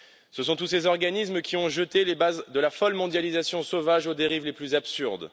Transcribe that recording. Ce sont tous ces organismes qui ont jeté les bases de la folle mondialisation sauvage aux dérives les plus absurdes.